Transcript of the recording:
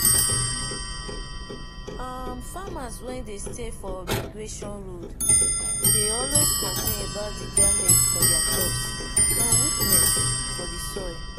um farmers wen dey stay for migration road dey always complain about the demage for their crops and weakness for the soil.